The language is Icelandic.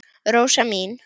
Rósa mín.